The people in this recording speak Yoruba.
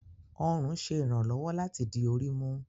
Ọrun ṣe iranlọwọ lati di ori mu.